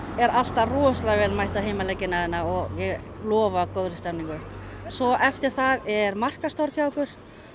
er alltaf rosalega vel mætt á heimaleikina hérna og ég lofa góðri stemmningu svo eftir það er markaðstorg hjá okkur